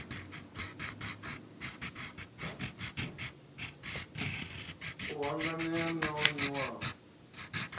a hanganea na o niwaho